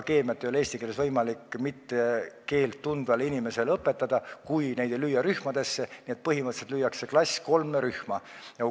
Keemiat ei ole eesti keeles võimalik keelt mittetundvatele inimestele õpetada, kui õpilasi ei panda rühmadesse, nii et põhimõtteliselt lüüakse klass kolme rühma.